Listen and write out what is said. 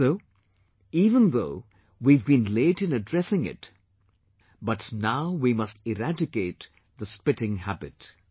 So even though we have been late in addressing it, but now we must eradicate the spitting habit